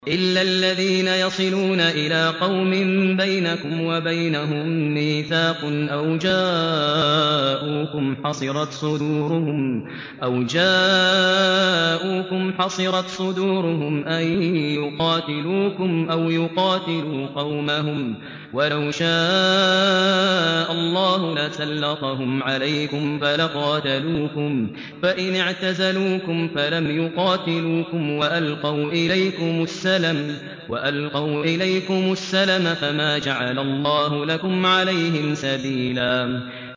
إِلَّا الَّذِينَ يَصِلُونَ إِلَىٰ قَوْمٍ بَيْنَكُمْ وَبَيْنَهُم مِّيثَاقٌ أَوْ جَاءُوكُمْ حَصِرَتْ صُدُورُهُمْ أَن يُقَاتِلُوكُمْ أَوْ يُقَاتِلُوا قَوْمَهُمْ ۚ وَلَوْ شَاءَ اللَّهُ لَسَلَّطَهُمْ عَلَيْكُمْ فَلَقَاتَلُوكُمْ ۚ فَإِنِ اعْتَزَلُوكُمْ فَلَمْ يُقَاتِلُوكُمْ وَأَلْقَوْا إِلَيْكُمُ السَّلَمَ فَمَا جَعَلَ اللَّهُ لَكُمْ عَلَيْهِمْ سَبِيلًا